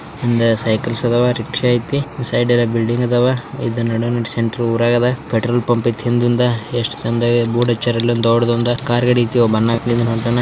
ಹಿಂದಿ ಸೈಕಾಲದವಾರಿ ಪಕ್ಷ ಇದೆ ಸೈಡಲ್ಲಿ ಬಿಲ್ಡಿಂಗ್ ಅದಾವ ಪೆಟ್ರೋಲ್ ಪಂಪ್ ಇದೆ ಎಸ್ ಚೆಂದಾಗಿ ಬೋಡ ಹಚ್ಚವ್ರೆ.